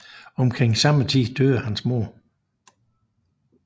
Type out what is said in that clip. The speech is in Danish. Omkring samme tid døde hans mor